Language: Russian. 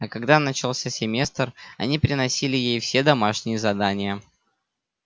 а когда начался семестр они приносили ей все домашние задания